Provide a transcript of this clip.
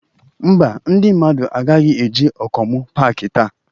Ḿbà, ndị mmadụ agaghị eje Okomu paaki taa.